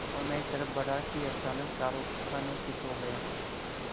वह मेरी तरफ़ बढ़ा कि अचानक चारों खाने चित्त हो गया